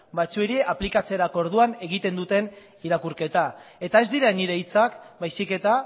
batzuei aplikatzerako orduan egiten duten irakurketa eta ez dira nire hitzak baizik eta